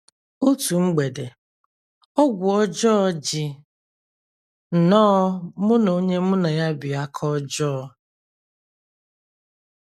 Otu mgbede, ọgwụ ọjọọ ji nnọọ mụ na onye mụ na ya bi aka ọjọọ.